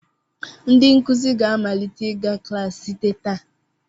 Ndị nkụzi ga-amalite ịga klaasị site taa.